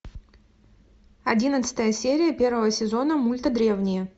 одиннадцатая серия первого сезона мульта древние